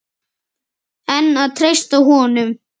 En að treysta honum?